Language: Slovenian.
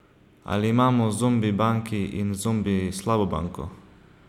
Ali imamo zombi banki in zombi slabo banko?